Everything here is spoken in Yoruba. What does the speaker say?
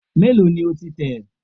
Mélòó ni o ti tẹ̀?